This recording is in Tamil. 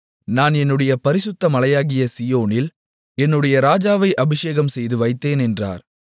நான் என்னுடைய பரிசுத்தமலையாகிய சீயோனில் என்னுடைய இராஜாவை அபிஷேகம்செய்து வைத்தேன் என்றார்